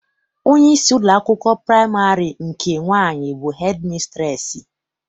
Onyeisi ụlọakwụkwọ praịmarị nke nwaanyị bụ hedịmisitreesị.